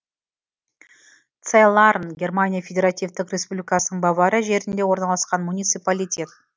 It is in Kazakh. цайларн германия федеративтік республикасының бавария жерінде орналасқан муниципалитет